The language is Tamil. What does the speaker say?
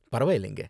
பரவாயில்லைங்க.